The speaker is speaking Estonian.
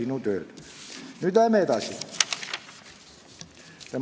Nüüd läheme edasi.